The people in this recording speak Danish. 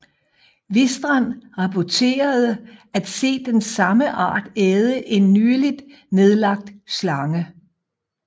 Wistrand rapporterede at se den samme art æde en nyligt nedlagt slange